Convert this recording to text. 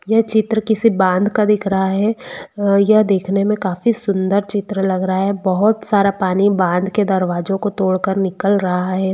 ये चित्र किसी बांध का दिख रहा है अ यह देखने मे काफी सुंदर चित्र लग रहा है बोहोत सारा पानी बांध के दरवाजों को तोड़ कर निकल रहा है।